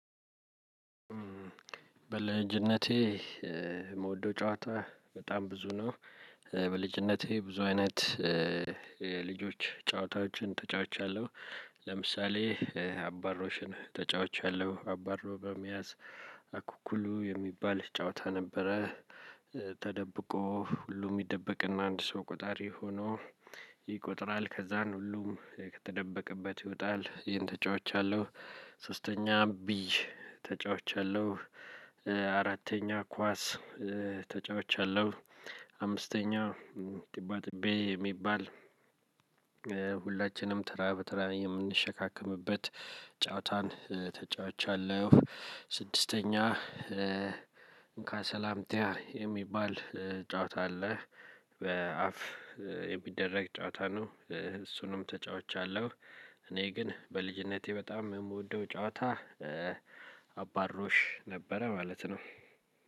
በልጅነቴ የምወደው ጨዋታ በጣም ብዙ ነው። በልጅነቴ ብዙ አይነት የልጆች ጨዋታዎችን ተጫውቻለሁ። ለምሳሌ አባሮሽን ተጫውቻለሁ አባሮ በመያዝ አኩኩሉ የሚባል ጨዋታ ነበረ። ተደብቆ ሁሉም ይደበቅና አንድ ሰው ቆጣሪ ሆኖ ይቆጥራል ከዛን ሁሉም ከተደበቀበት ይወጣል ይሄን ተጫውቻለሁ። ሶስተኛ ብይ ተጫውቻለሁ። አራተኛ ኳስ ተጫውቻለሁ። አምስተኛ ጥባጥቤ የሚባል ሁላችንም ተራ በተራ የምንሸካከምበት ጨዋታን ተጫዋቻለሁ። ስድስተኛ እንካ ሰላምቲያ የሚባል ጨዋታ አለ። በአፍ የሚደረግ ጨዋታ ነው። እሱንም ተጫውቻለሁ። እኔ ግን በልጅነቴ በጣም የምወደው ጨዋታ አባሮሽ ነበረ ማለት ነው።